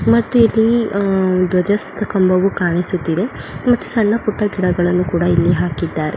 ಮತ್ತಿಲ್ಲಿ ಧ್ವಜ ಸತಂಬವು ಕಾಣಿಸುತ್ತಿದೆ ಮತ್ತೆ ಸಣ್ಣ ಪುಟ್ಟ ಗಿಡಗಳನ್ನು ಕೂಡ ಇಲ್ಲಿ ಹಾಕಿದ್ದಾರೆ.